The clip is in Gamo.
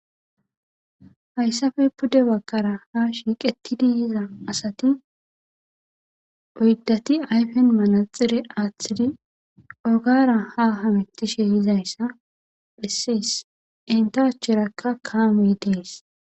Hayssappe puude bagara ha shiqqetidi yiza asati oyiddati ayifen manaxxire aththidi ogara ha hammetish yizayisa bessesi entta acheraka kammeyi des